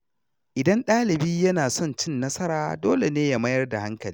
Idan dalibi yana son cin nasara, dole ne ya mayar da hankali.